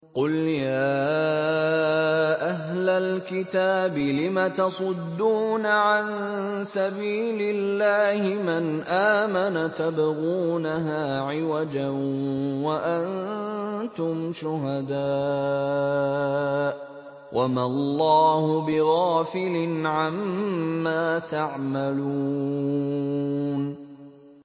قُلْ يَا أَهْلَ الْكِتَابِ لِمَ تَصُدُّونَ عَن سَبِيلِ اللَّهِ مَنْ آمَنَ تَبْغُونَهَا عِوَجًا وَأَنتُمْ شُهَدَاءُ ۗ وَمَا اللَّهُ بِغَافِلٍ عَمَّا تَعْمَلُونَ